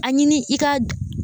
A ɲini i ka